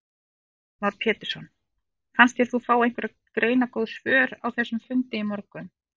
Heimir Már Pétursson: Fannst þér þú fá einhver greinargóð svör á þessum fundi í morgun?